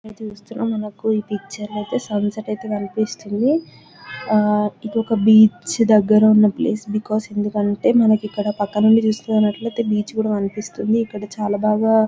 ఇక్కడ చూస్తున్నాం మనకు ఈ పిక్చర్ లో ఐతే సన్సెట్ అయితే కనిపిస్తుంది ఆ ఇదొక బీచ్ దగ్గరున్న ప్లేస్ బికాజ్ ఎందుకంటే మనకిక్కడ పక్క నుండి తీసుకున్నటైతే బీచ్ కూడా కనిపిస్తుంది ఇక్కడ చాల బాగా--